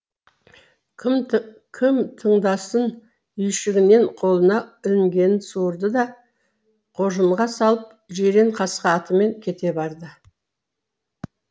кім тыңдасын үйшігінен қолына ілінгенін суырды да қоржынға салып жирен қасқа атымен кете барды